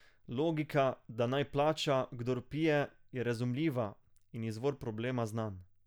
Logika, da naj plača, kdor pije, je razumljiva, in izvor problema znan.